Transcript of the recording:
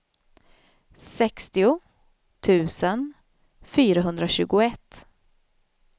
sextio tusen fyrahundratjugoett